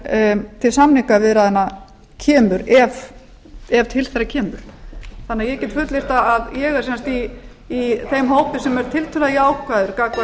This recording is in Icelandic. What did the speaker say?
en til samningaviðræðna kemur ef til þeirra kemur ég get fullyrt að ég er sem sagt í þeim hópi sem er tiltölulega jákvæður gagnvart frekari tengslum við evrópusambandið